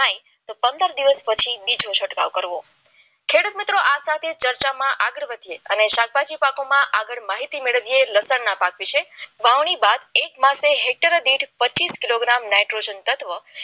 તો પંદર દિવસ પછી બીજો છંટકાવ કરવો ખેડૂત મિત્રો આ સાથે ચર્ચામાં આગળ વધીએ અને શાકભાજી પાકોમાં આગળ માહિતી મેળવીએ લસણના પાકી છે ની પાક વિશે એક જ હેક્ટર દીઠ પચીસ કિલોગ્રામ નાઈટ્રેટ તત્વ